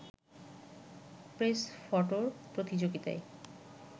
press ফটোর প্রতিযোগিতায়